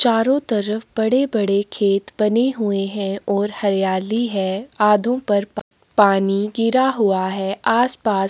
चारों तरफ बड़े - बड़े खेत बने हुये हैं और हरियाली हैं आधु पर प पानी गिरा हुआ है आस - पास --